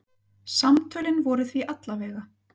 Samtölin voru því alla vega.